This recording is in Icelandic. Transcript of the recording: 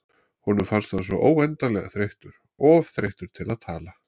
Honum fannst hann svo óendanlega þreyttur, of þreyttur til að tala.